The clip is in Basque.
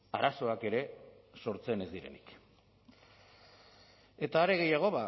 arazoak ere sortzen ez direnik eta are gehiago